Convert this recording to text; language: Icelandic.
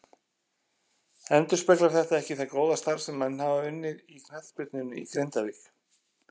Endurspeglar þetta ekki það góða starf sem menn hafa unnið í knattspyrnunni í Grindavík.